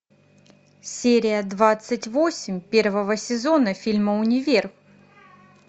серия двадцать восемь первого сезона фильма универ